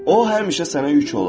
O həmişə sənə yük olar.